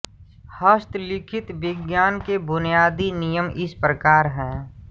हस्तलिखित विज्ञानं के बुनियादी नियम इस प्रकार है